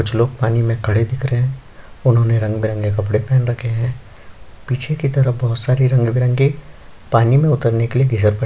कुछ लोग पानी में खड़े दिख रहे है उन्होंने रंग-बिरंगे कपड़े पेहन रखे है पीछे की तरफ बोहोत सारी रंग-बिरंगी पानी में उतरने के लिए फिसलपट्टी--